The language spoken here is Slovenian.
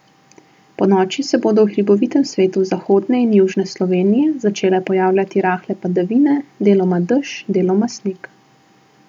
Ponoči se bodo v hribovitem svetu zahodne in južne Slovenije začele pojavljati rahle padavine, deloma dež, deloma sneg.